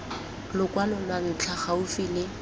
lokwalo lwa ntlha gaufi le